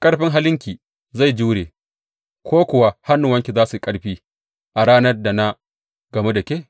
Ƙarfin halinki zai jure ko kuwa hannuwanki za su yi ƙarfi a ranar da na gamu da ke?